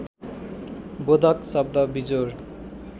बोधक शब्द बिजोर